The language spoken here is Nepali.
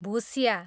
भुस्या